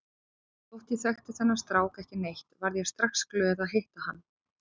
Þótt ég þekkti þennan strák ekki neitt varð ég strax glöð að hitta hann.